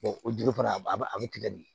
o juru fana a bɛ tigɛ de